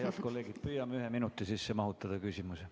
Head kolleegid, püüame mahutada küsimuse ühe minuti sisse.